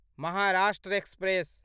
Maharashtra express